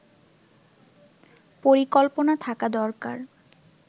পরিকল্পনা থাকা দরকার